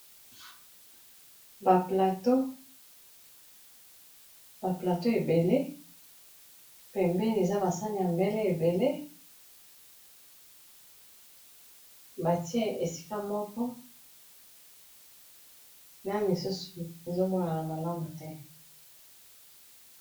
baplateau ebele pe mbeni eza basani ya mbele ebele batie esika moko na lisusu ezomonana malamu te